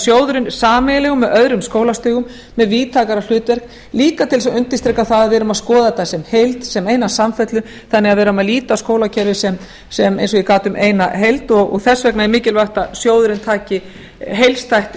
sjóðurinn sameiginlegur með öðrum skólastigum með víðtækara hlutverk líka til þess að undirstrika að við erum að skoða þetta sem heild sem eina samfellu þannig að við erum að líta á skólakerfið sem eins og ég gat um sem eina heild og þess vegna er mikilvægt að sjóðurinn taki heildstætt